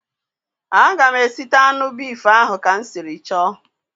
A ga m esita anụ bif ahụ ka m siri chọ